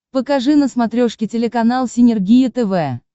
покажи на смотрешке телеканал синергия тв